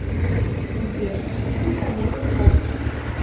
сбер фильм про меган фокс